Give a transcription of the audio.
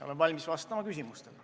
Olen valmis vastama küsimustele.